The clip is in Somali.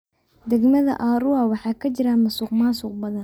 Degmada Arua waxaa ka jira musuqmaasuq badan.